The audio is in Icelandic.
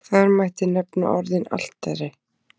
þar mætti nefna orðin altari